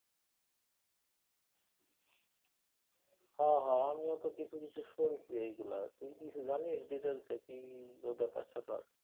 হ হ আমিও তো কিছু কিছু শুনছি এইগুলা তুই কিছু জানিস details এ কি ব্যাপার স্যাপার?